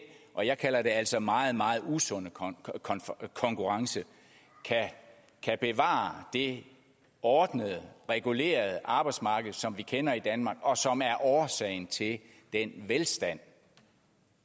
og jeg kalder det altså meget meget usunde konkurrence kan bevare det ordnede regulerede arbejdsmarked som vi kender i danmark og som er årsagen til den velstand